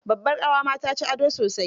Babbar ƙawa ma ta ci ado sosai.